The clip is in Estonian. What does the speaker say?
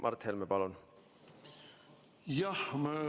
Mart Helme, palun!